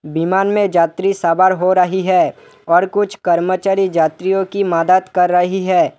विमान में यात्री सवार हो रही है और कुछ कर्मचारी यात्रियों की मदद कर रही है।